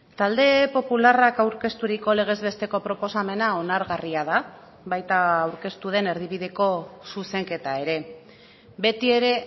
talde popularrak aurkezturiko legezbesteko proposamena onargarria da baita aurkeztu den erdibideko zuzenketa ere beti ere